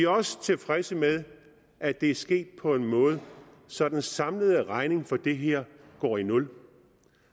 også tilfredse med at det er sket på en måde så den samlede regning for det her går i nul